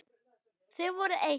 Þið voruð eitt.